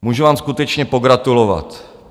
Můžu vám skutečně pogratulovat.